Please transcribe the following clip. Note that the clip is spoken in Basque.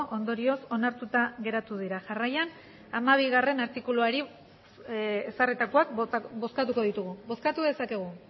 ondorioz onartuta geratu dira jarraian hamabigarrena artikuluari ezarritakoak bozkatuko ditugu bozkatu dezakegu